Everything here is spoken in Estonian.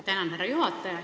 Tänan, härra juhataja!